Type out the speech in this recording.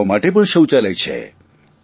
છોકરાઓ માટે પણ શૌચાલય છે